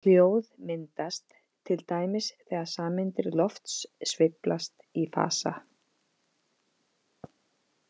Hljóð myndast til dæmis þegar sameindir lofts sveiflast í fasa.